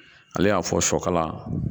Ale y'a fɔ sɔkala